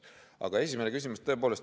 Aga esimene küsimus.